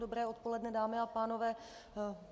Dobré odpoledne, dámy a pánové.